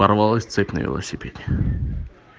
порвалась цепь на велосипеде